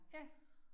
Ja